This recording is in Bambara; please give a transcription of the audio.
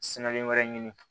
wɛrɛ ɲini